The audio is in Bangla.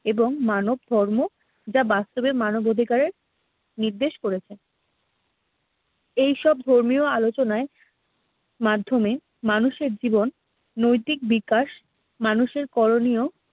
এবং মানব ধর্ম যা বাস্তবে মানবাধিকারের নির্দেশ করেছে। এইসব ধর্মীয় আলোচনায় মাধ্যমে মানুষের জীবন নৈতিক বিকাশ মানুষের করণীয়